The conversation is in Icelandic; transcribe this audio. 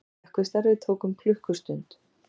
Slökkvistarfið tók um klukkustund